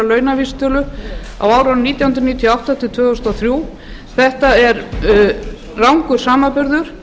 á árunum nítján hundruð níutíu og átta til tvö þúsund og þrjú þetta er rangur samanburður